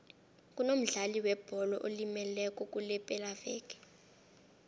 kunomdlali webholo olimeleko kulepelaveke